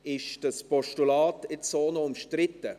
Ist das Postulat jetzt so noch umstritten?